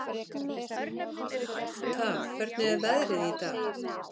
Bengta, hvernig er veðrið í dag?